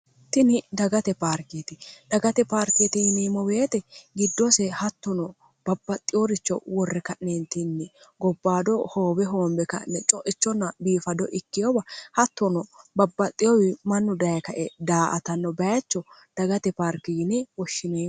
tini dagate paarkeeti dagate paarkeeti yimiimo beeti giddoose hattono babbaxxiyooricho worre ka'neentinni gobbaado hoobe hoombe ka'ne co'ichonna biifado ikkeyoba hattono babbaxxiyowi mannu daye kae daa atanno bayacho dagate paarki yine woshshinoe